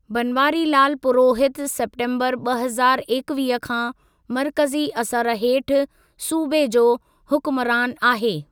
बनवारीलाल पुरोहित सेप्टेंबरु ॿ हज़ारु एकवीह खां मर्कज़ी असर हेठि सूबे जो हुकुमरानु आहे।